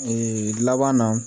Ee laban na